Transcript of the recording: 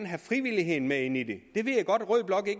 have frivilligheden med ind i det